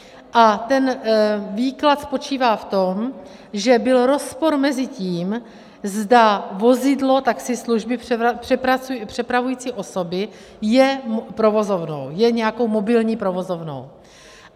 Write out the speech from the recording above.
A ten výklad spočívá v tom, že byl rozpor mezi tím, zda vozidlo taxislužby přepravující osoby je provozovnou, je nějakou mobilní provozovnou.